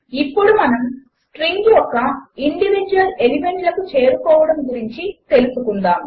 ఇప్పుడు మనము స్ట్రింగ్ యొక్క ఇండివీడ్యువల్ ఎలిమెంట్లకు చేరుకోవడము గురించి తెలుసుకుందాము